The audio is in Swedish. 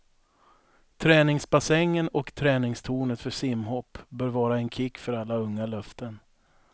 Träningsbassängen och träningstornet för simhopp bör vara en kick för alla unga löften.